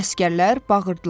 Əsgərlər bağırdılar: